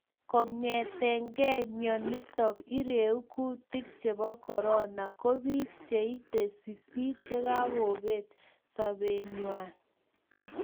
Kong'etengei mionito iregu kutik chebo Corona ko bik cheite sisit chekakobet sobonwekchwak